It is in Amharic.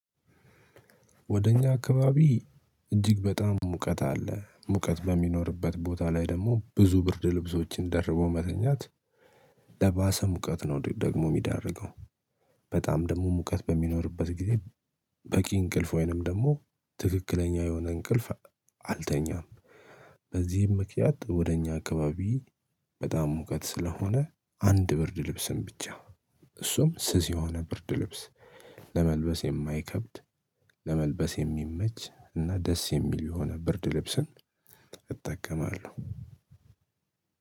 ወደ እኛ አካባቢ እጅግ በጣም ሙቀት አለ ሙቀት በሚኖርበት ቦታ ላይ ደግሞ ብዙ ብርድ ልብሶችን ደርቦ መተኛት ለባሰ ሙቀት ነው ደግሞ የሚዳርገው። በጣም ደግሞ ሙቀት በሚኖርበት ጊዜ በቂ እንቅልፍ ወይንም ደግሞ ትክክለኛ የሆነ እንቅልፍ አልተኛም። በዚህም ምክንያት ወደ እኛ አካባቢ በጣም ሙቀት ስለሆነ አንድ ብርድ ልብስን ብቻ እሱም ስዝ የሆነ ብርድ ልብስ ለመልበስ የማይከብድ ለመልበስ የሚመች እና ደስ የሚል የሆነ ብርድ ልብስን። እጠቀማለሁ።